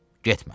Getmə.